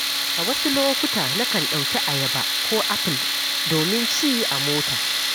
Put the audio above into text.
A wasu lokuta, na kan ɗauki ayaba ko apple domin ci a mota.